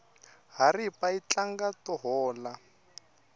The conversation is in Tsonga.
haripa yi tlanga to hola